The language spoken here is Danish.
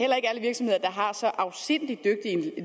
så afsindig dygtig